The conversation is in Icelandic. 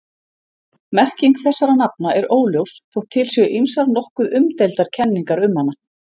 Merking þessara nafna er óljós þótt til séu ýmsar nokkuð umdeildar kenningar um hana.